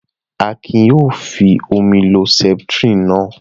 Akin yóò fi omi lo Septrin náà.